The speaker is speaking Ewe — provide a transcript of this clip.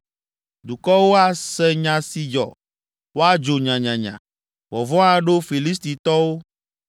Dukɔwo ase nya si dzɔ, woadzo nyanyanya; vɔvɔ̃ aɖo Filistitɔwo.